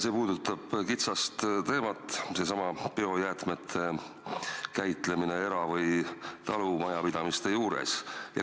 See puudutab kitsast teemat, biojäätmete käitlemist talumajapidamistes ja muude eramajade juures.